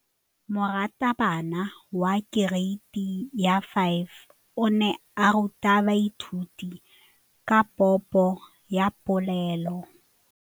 Moratabana wa kereiti ya 5 o ne a ruta baithuti ka popô ya polelô.